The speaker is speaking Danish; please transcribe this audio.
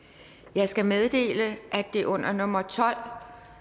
jeg skal meddele at det under nummer tolv